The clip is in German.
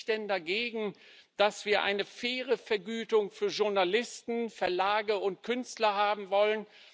Was spricht denn dagegen, dass wir eine faire Vergütung für Journalisten, Verlage und Künstler haben wollen?